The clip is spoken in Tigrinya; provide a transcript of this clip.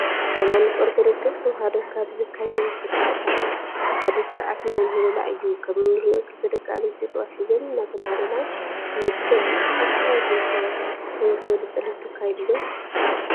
ሃይማኖት አርቶዶክስ ተዋህዶ ካብ ዘካየድዎ ስርዓታት ሓደ ስርዓት ናይ ምህሌላ እዩ ።ከም እንሪኦ ክልተ ደቂ አንስትዩ ጥዋፍ ሒዘን እናተማህለላ ንምልከት አብ ከባቢኩም ከ ከመዚ ዝበለ ፀሎት ተካይዱ ዶ?